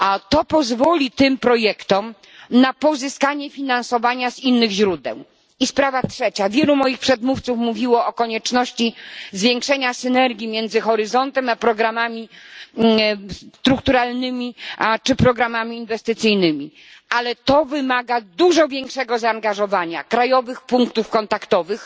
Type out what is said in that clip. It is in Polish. To pozwoli tym projektom na pozyskanie finansowania z innych źródeł. Sprawa trzecia. Wielu moich przedmówców wspominało o konieczności zwiększenia synergii między programem Horyzont 2020 a programami strukturalnymi czy programami inwestycyjnymi, ale to wymaga dużo większego zaangażowania krajowych punktów kontaktowych